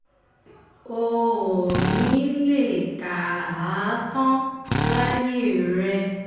o ò ní í lè kà á tán láyé rẹ